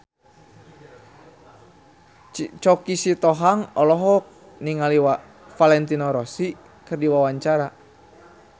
Choky Sitohang olohok ningali Valentino Rossi keur diwawancara